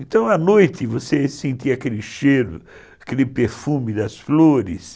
Então, à noite, você sentia aquele cheiro, aquele perfume das flores.